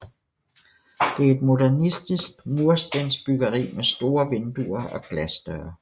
Det er et modernistisk murstensbyggeri med store vinduer og glasdøre